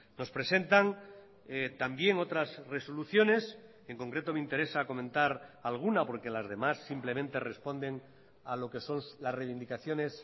nos presentan también otras resoluciones en concreto me interesa comentar alguna porque las demás simplemente responden a lo que son las reivindicaciones